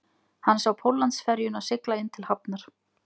Hann sá Póllandsferjuna sigla inn til hafnar